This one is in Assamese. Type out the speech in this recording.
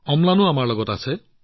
অম্লানও আমাৰ লগত আছে